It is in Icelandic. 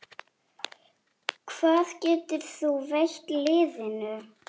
Hvað getur þú veitt liðinu?